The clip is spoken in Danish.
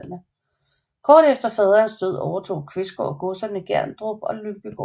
Kort efter faderens død overtog Qvistgaard godserne Gerdrup og Lyngbygård